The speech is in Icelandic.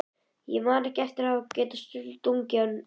Man ekki eftir að hafa stungið neinu á sig.